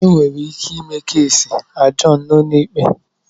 Enwere ike ime keesi ajọọn na ụlọikpe.